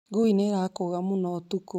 Ngui nĩ irakũga mũno ũtukũ